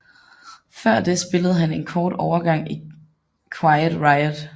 Før det spillede han en kort overgang i Quiet Riot